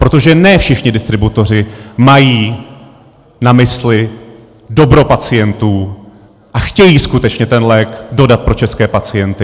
Protože ne všichni distributoři mají na mysli dobro pacientů a chtějí skutečně ten lék dodat pro české pacienty.